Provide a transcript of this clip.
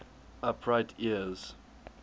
upright ears